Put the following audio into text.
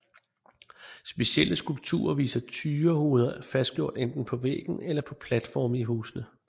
Specielle skulpturer viser tyrehoveder fastgjort enten på væggen eller på platforme i husene